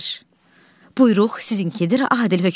Vəzir: Buyruq sizinkidir, adil hökmdar.